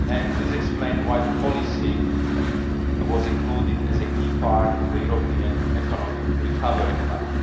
This explains why the policy was included as a key part of the European Economic Recovery Plan.